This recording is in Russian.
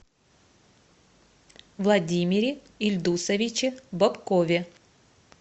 владимире ильдусовиче бобкове